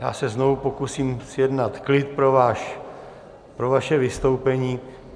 Já se znovu pokusím zjednat klid pro vaše vystoupení.